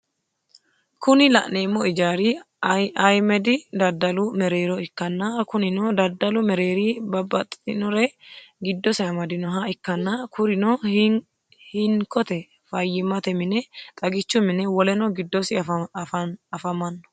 Kuni lanemo ijari ayimedi dadalu merero ikana kunino daddalu mereri babatitinore gidose amadinoha ikana kurino hiinikote fayimate mine, xagichu mine woleno gidosi afamano.